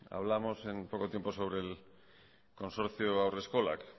hablamos en poco tiempo sobre el consorcio haurreskolak